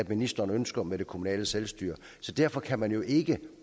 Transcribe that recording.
ministeren ønsker med det kommunale selvstyre så derfor kan man jo ikke